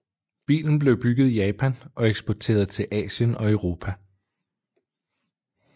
Bilen blev bygget i Japan og eksporteret til Asien og Europa